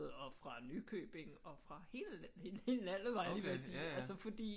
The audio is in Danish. Og fra Nykøbing og fra hele landet var jeg lige ved at sige altså fordi